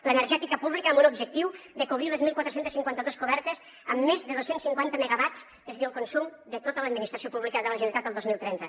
l’energètica pública amb un objectiu de cobrir les catorze cinquanta dos cobertes amb més de dos cents i cinquanta megawatts és a dir el consum de tota l’administració pública de la generalitat el dos mil trenta